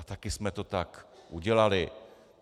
A taky jsme to tak udělali.